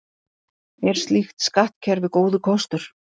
Er slíkt skattkerfi góður kostur?